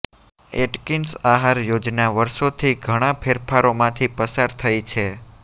Atkins આહાર યોજના વર્ષોથી ઘણા ફેરફારોમાંથી પસાર થઈ છે